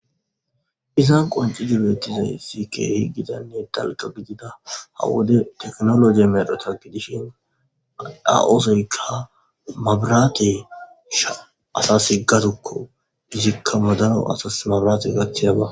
Izan qoncidibeettizay sikeehi gidanne dalqa gidida ha wode teknologe medhota gidishin a7osoyka mabiraate sha asa siggatokko hizikka modano asas mabraate gaththiyaba.